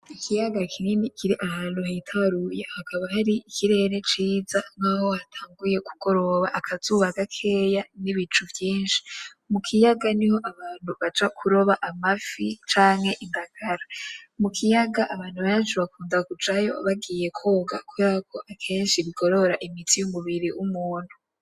Ikiyaga kinini kiri ahantu hitaruye haba hari ikirere ciza nkaho hatanguye kugoroba, akazuba gakeya n’ibicu vyinshi. Mu kiyaga niho abantu baja kuroba amafi cyanke indagara. Mu kiyaga abantu benshi bakunda kujayo bagiye koga kubera ko akenshi bigorora imitsi y'umubiri w'umuntu.